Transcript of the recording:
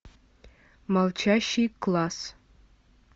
молчащий класс